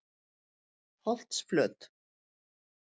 Holtsflöt